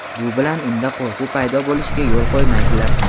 Bu bilan unda qo‘rquv paydo bo‘lishiga yo‘l qo‘ymaydilar.